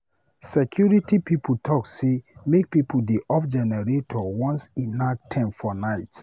Security pipo don talk sey make pipo dey off generator once e nak 10:00 for night.